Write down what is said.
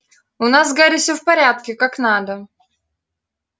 у нас с гарри всё в порядке как надо